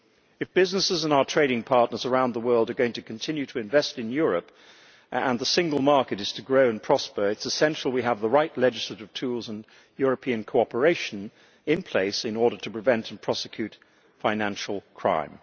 If businesses and our trading partners around the world are going to continue to invest in Europe, and if the single market is to grow and prosper, it is essential we have the right legislative tools and European cooperation in place in order to prevent and prosecute financial crime.